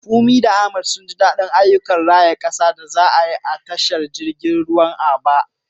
Funmi da Kunmi sun ji daɗin ayyukan raya ƙasa da za a yi a tashar jirgin ruwan Aba.